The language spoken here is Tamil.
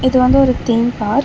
இது வந்து ஒரு தீம் பார்க் .